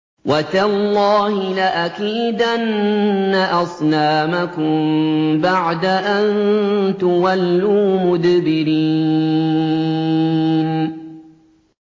وَتَاللَّهِ لَأَكِيدَنَّ أَصْنَامَكُم بَعْدَ أَن تُوَلُّوا مُدْبِرِينَ